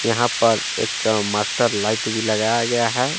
यहां पर एक मास्टर लाइट भी लगाया गया है।